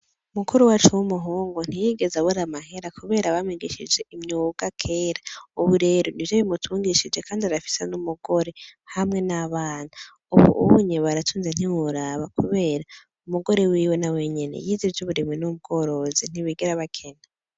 Mukuru wacu w'umuhungu ntiyigeze abo riamahera, kubera abamigishije imyuga kera, ubu rero ni vyo bimutungishije, kandi arafise n'umugore hamwe n'abana, ubu uwunyebaracunze ntiwuraba, kubera umugore wiwe na we nyene yizije uburimwi n'ubworozi ntibigera bakena.